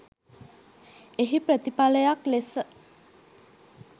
එහි ප්‍රතිපලයක් ලෙස